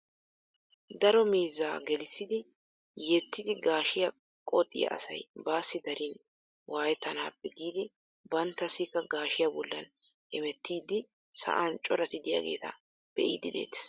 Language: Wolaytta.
Daro miizzaa gelissidi yettiidi gaashshiyaa qoxxiyaa asay baasi darin waayettanappe giidi banttassikka gaashiyaa bollan hemettiidi sa'an coratti de'iyaageta be''idi de'eettees.